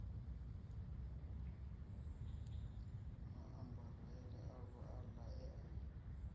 maambarele avho aḽa e a